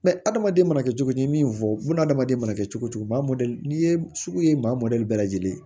adamaden mana kɛ cogo cogo ni min fɔ hadamaden mana kɛ cogo cogo maa mɔdɛli n'i ye sugu ye maa mɔdɛli bɛɛ lajɛlen